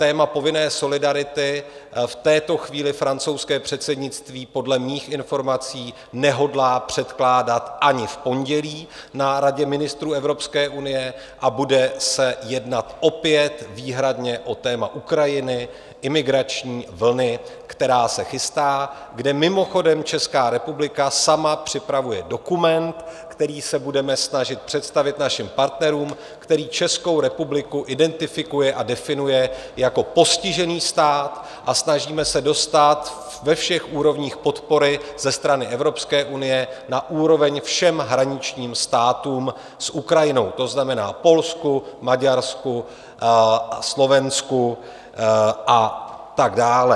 Téma povinné solidarity v této chvíli francouzské předsednictví podle mých informací nehodlá předkládat ani v pondělí na Radě ministrů Evropské unie a bude se jednat opět výhradně o téma Ukrajiny, imigrační vlny, která se chystá, kde mimochodem Česká republika sama připravuje dokument, který se budeme snažit představit našim partnerům, který Českou republiku identifikuje a definuje jako postižený stát, a snažíme se dostát ve všech úrovních podpory ze strany Evropské unie na úroveň všem hraničním státům s Ukrajinou, to znamená Polsku, Maďarsku, Slovensku a tak dále.